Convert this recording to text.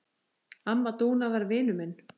Amma Dúna var vinur minn.